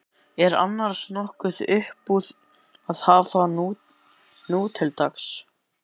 Er annars nokkuð uppúr því að hafa nútildags?